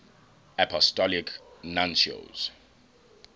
apostolic nuncios